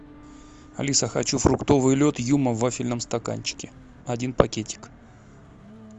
алиса хочу фруктовый лед юма в вафельном стаканчике один пакетик